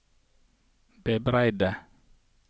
bebreide